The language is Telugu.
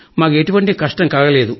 మాకు ఎటువంటి కష్టం కలుగలేదు